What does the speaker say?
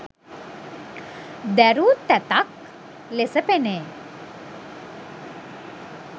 දැරූ තැතක් ලෙස පෙනේ.